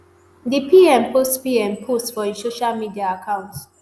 di pm post pm post for im social media account